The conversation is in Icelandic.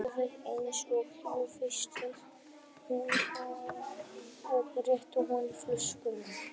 Alveg eins og þú vilt sagði hún og rétti honum flöskuna.